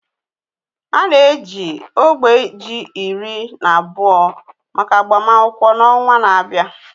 A na-eji ógbè ji iri na abụọ maka agbamakwụkwọ n'ọnwa na-abịa